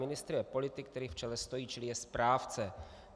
Ministr je politik, který v čele stojí, čili je správce.